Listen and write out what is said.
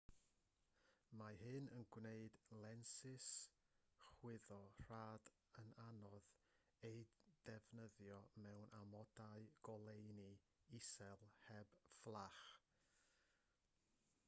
mae hyn yn gwneud lensys chwyddo rhad yn anodd eu defnyddio mewn amodau goleuni isel heb fflach